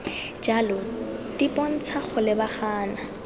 jalo di bontsha go lebagana